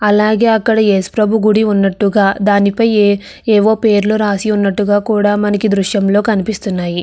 అలాగే అక్కడ యేసుప్రభు గుడి ఉన్నట్లుగా దానిపై ఏ ఏవో పేర్లు రాసి ఉన్నట్టుగా కూడా మనకి దృశ్యంలో కనిపిస్తున్నాయి.